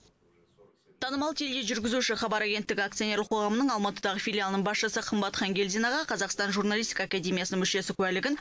танымал тележүргізуші хабар агенттігі акционерлік қоғамының алматыдағы филиалының басшысы қымбат хангелдинаға қазақстан журналистика академиясының мүшесі куәлігін